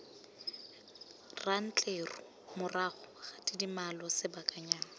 rantleru morago ga tidimalo sebakanyana